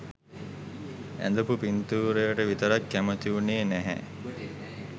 ඇඳපු පින්තූරයට විතරක් කැමති උනේ නැහැ.